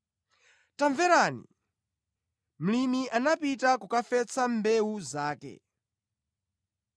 “Tamverani! Mlimi anapita kukafesa mbewu zake.